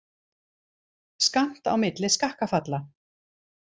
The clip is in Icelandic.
Skammt á milli skakkafalla